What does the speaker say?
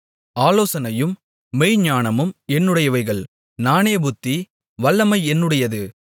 ஆலோசனையும் மெய்ஞானமும் என்னுடையவைகள் நானே புத்தி வல்லமை என்னுடையது